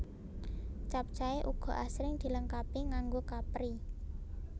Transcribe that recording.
Capcay uga asring dilengkapi nganggo kapri